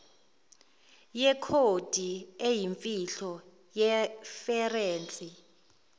yekhodi eyimfihlo yeferense